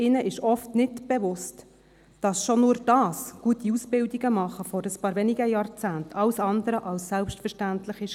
Ihnen ist oft nicht bewusst, dass schon nur dies, gute Ausbildungen zu machen, vor ein paar wenigen Jahrzehnten alles andere als selbstverständlich war.